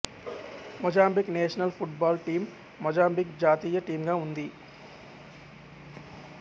Mozambique national football team Mozambique జాతీయ టీంగా ఉంది